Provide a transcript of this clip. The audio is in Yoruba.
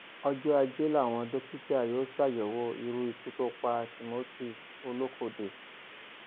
ọjọ ajé làwọn dókítà yóò ṣàyẹwò irú ikú tó pa timothyolókòde